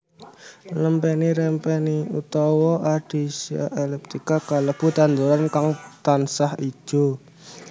Lempeni rempeni utawa Ardisia elliptica kalebu tanduran kang tansah ijo